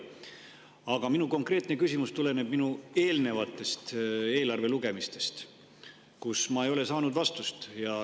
Aga minu konkreetne küsimus tuleneb eelnevatest eelarve lugemistest, kui ma ei saanud vastust.